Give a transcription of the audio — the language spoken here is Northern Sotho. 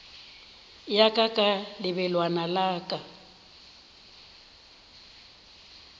ya ka ka lebelwana ka